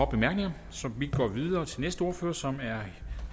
bemærkninger så vi går videre til den næste ordfører som er